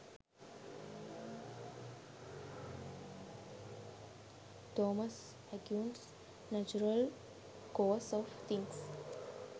thomas aquinas natural course of things